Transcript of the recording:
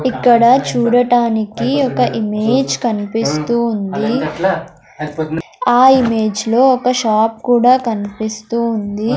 ఇక్కడ చూడటానికి ఒక ఇమేజ్ కనిపిస్తూ ఉంది ఆ ఇమేజ్ లో ఒక షాప్ కూడా కనిపిస్తూ ఉంది.